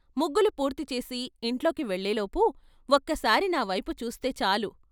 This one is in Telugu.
ముగ్గులు పూర్తి చేసి ఇంట్లోకి వెళ్ళేలోపు ఒక్కసారి నా చూస్తే చాలు.